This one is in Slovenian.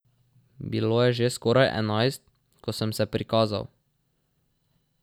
Bilo je že skoraj enajst, ko sem se prikazal.